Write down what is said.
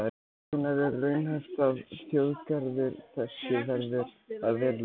Hvenær er raunhæft að þjóðgarður þessi verði að veruleika?